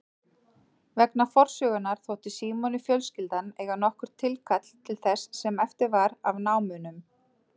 Vegna forsögunnar þótti Símoni fjölskyldan eiga nokkurt tilkall til þess sem eftir var af námunum.